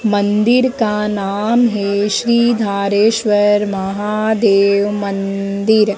मंदिर का नाम है श्री धारेश्वर महादेव मंदिर।